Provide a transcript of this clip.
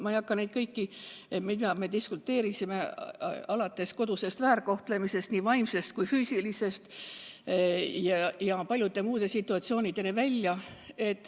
Ma ei hakka kõike üles lugema, mille üle me diskuteerisime, aga muresid oli alates kodusest väärkohtlemisest, nii vaimsest kui ka füüsilisest, kuni paljude muude situatsioonideni välja.